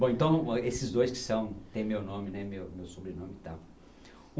Bom, então, esses dois que são, tem meu nome, né, meu, meu sobrenome e tal.